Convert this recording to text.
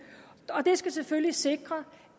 og det skal selvfølgelig sikre